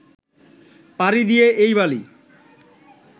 পাড়ি দিয়ে এই বালি